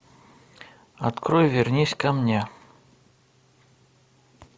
открой вернись ко мне